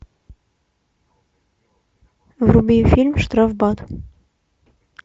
вруби фильм штрафбат